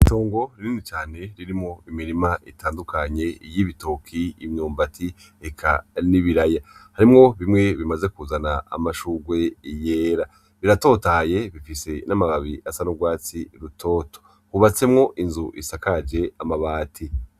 Itongo rinini cane ririmwo imirima itandukanye y'ibitoki, imyumbati eka n'ibiraya harimwo bimwe bimaze kuzana amashurwe yera biratotahaye bifise n'amababi asa n'urwatsi rutoto hubatsemwo inzu isakaje amabati.